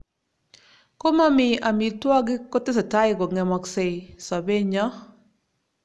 Komomii amitwokik kotesetai kong'emaksei sobenyo